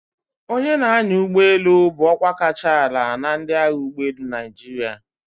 Onye na-anya ụgbọ elu bụ ọkwa kacha ala na ndị agha ụgbọelu Naịjirịa.